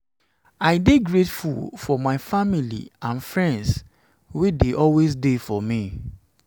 i dey grateful for my family and friends wey dey always dey for me.